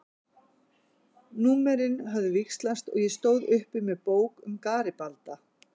Númerin höfðu víxlast og ég stóð uppi með bók um Garibalda.